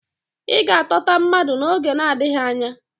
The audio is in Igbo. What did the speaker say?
Ị ga-atọta mmadụ n'oge nadịghị anya.